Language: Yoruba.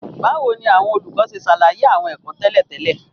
Báwo ni àwọn olùkọ́ ṣe ṣàlàyé àwọn ẹ̀kọ́ tẹ́lẹ̀ tẹ́lẹ̀?